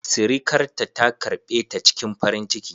Sirikarta ta karɓe ta cikin farin ciki.